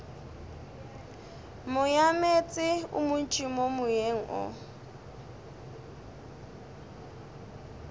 moyameetse o montši moyeng o